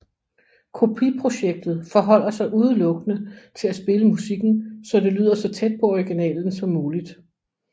Kopiprojektet forholder sig udelukkende til at spille musikken så det lyder så tæt på originalen som muligt